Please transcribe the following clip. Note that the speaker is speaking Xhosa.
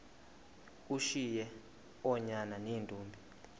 ushiye oonyana neentombi